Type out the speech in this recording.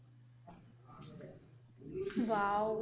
Wow